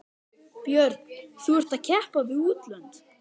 Björn: Þú ert að keppa við útlönd?